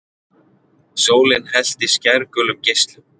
Sólin hellti skærgulum geislum.